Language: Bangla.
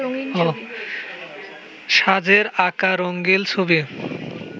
সাঁঝের আঁকা রঙিন ছবি